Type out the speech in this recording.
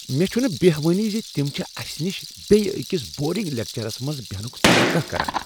مےٚ چھنہٕ بہوانٕے ز تم چھ اسہ نش بیٚیہ أکس بورنگ لیکچرس منٛز بیہنک توقع کران۔